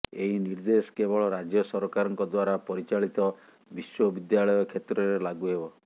ଏହି ନିର୍ଦ୍ଦେଶ କେବଳ ରାଜ୍ୟ ସରକାରଙ୍କ ଦ୍ୱାରା ପରିଚାଳିତ ବିଶ୍ୱବିଦ୍ୟାଳୟ କ୍ଷେତ୍ରରେ ଲାଗୁ ହେବ